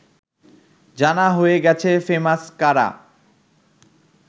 জানা হয়ে গেছে ফেমাস কারা